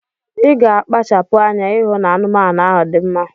Iga akpachapu anya ihu na anumanu ahu di mma